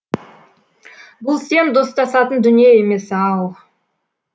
бұл сен достасатын дүние емес ау